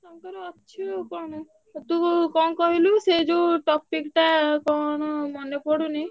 ତାଙ୍କର ଅଛି କଣ ତୁ କଣ କହିଲୁ ସେ ଯୋଉ topic ଟା କଣ ମାନେ ପଡୁନି।